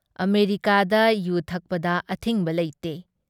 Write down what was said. ꯑꯃꯦꯔꯤꯀꯥꯗ ꯌꯨ ꯊꯛꯄꯗ ꯑꯊꯤꯡꯕ ꯂꯩꯇꯦ ꯫